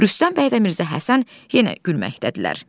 Rüstəm bəy və Mirzə Həsən yenə gülməkdədirlər.